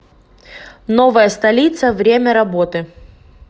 новая столица время работы